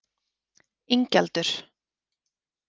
Ingjaldur